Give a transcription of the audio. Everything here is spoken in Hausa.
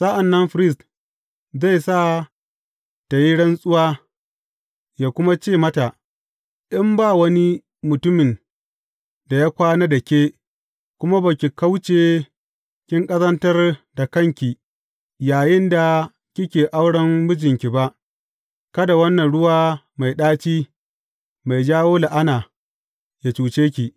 Sa’an nan firist zai sa tă yi rantsuwa, yă kuma ce mata, In ba wani mutumin da ya kwana da ke kuma ba ki kauce kin ƙazantar da kanki yayinda kike auren mijinki ba, kada wannan ruwa mai ɗaci, mai jawo la’ana, yă cuce ki.